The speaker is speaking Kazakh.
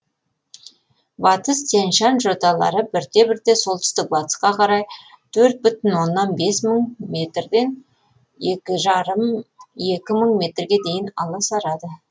батыс тянь шань жоталары бірте бірте солтүстік батысқа қарай тқрт бүтін оннан бес мың метрден екі жарым екі мың метрге дейін аласарады